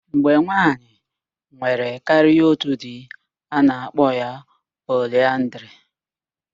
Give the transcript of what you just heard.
Mgbe nwaanyị nwere karịa otu di, a na-akpọ ya poliaandrị.